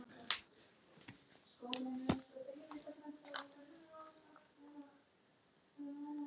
Hvað vildi Logi segja um það?